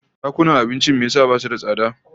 Dakunan abincin me yasa basu da tsada?